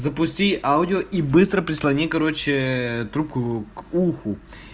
запусти аудио и быстро прислони короче трубку к уху